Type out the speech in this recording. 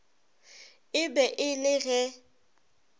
e be e le ge